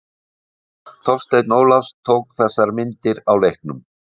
Þorsteinn Ólafs tók þessar myndir á leiknum.